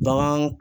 Bagan